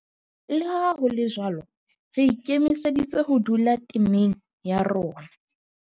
Le ha ho le jwalo, re ikemiseditse ho dula temeng ya rona.